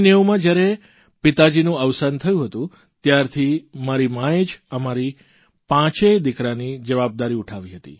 1990માં જયારે મારા પિતાજીનું અવસાન થયું હતું ત્યારથી મારી માએ જ અમારી પાંચેય દિકરાની જવાબદારી ઉઠાવી હતી